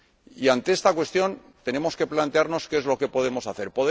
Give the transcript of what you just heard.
Y ante esta cuestión tenemos que plantearnos qué es lo que podemos hacer.